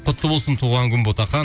құтты болсын туған күн ботақан